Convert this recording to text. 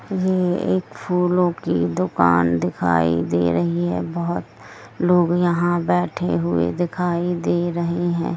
यह एक फूलों की दुकान दिखाई दे रही है बहोत लोग यहां बेड़े हुए दिखाई दे रहे हैं ।